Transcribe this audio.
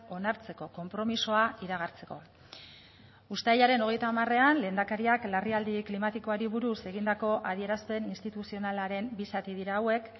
onartzeko konpromisoa iragartzeko uztailaren hogeita hamarean lehendakariak larrialdi klimatikoari buruz egindako adierazpen instituzionalaren bi zati dira hauek